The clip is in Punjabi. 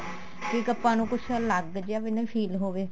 ਕੀ ਆਪਾਂ ਨੂੰ ਕੁੱਝ ਅਲੱਗ ਜਾ ਨਾ feel ਹੋਵੇ